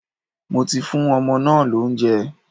Mo ti fún ọmọ náà lóúnjẹ.